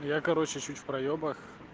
я короче чуть в проебах